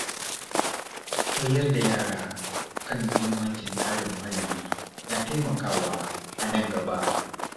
Koyar da yara kan mahimmancin kare muhalli na taimakawa a nan gaba.